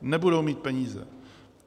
Nebudou mít peníze.